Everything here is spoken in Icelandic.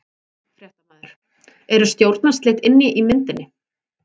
Fréttamaður: Eru stjórnarslit inn í myndinni?